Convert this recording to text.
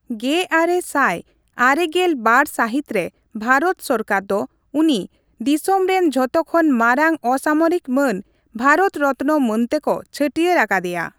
ᱜᱮᱟᱨᱮ ᱥᱟᱭ ᱟᱨᱮᱜᱮᱞ ᱵᱟᱨ ᱥᱟᱹᱦᱤᱛ ᱨᱮ ᱵᱷᱟᱨᱚᱛ ᱥᱚᱨᱠᱟᱨ ᱫᱚ ᱩᱱᱤ ᱫᱚᱥᱚᱢ ᱨᱮᱱ ᱡᱷᱚᱛᱚ ᱠᱷᱚᱱ ᱢᱟᱨᱟᱝ ᱚᱥᱟᱢᱚᱨᱤᱠ ᱢᱟᱹᱱ ᱵᱷᱟᱨᱚᱛᱨᱚᱛᱱᱚ ᱢᱟᱹᱱ ᱛᱮᱠᱚ ᱪᱷᱟᱹᱴᱭᱟᱹᱨ ᱟᱠᱟᱫᱮᱭᱟ ᱾